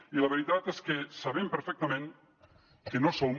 i la veritat és que sabem perfectament que no som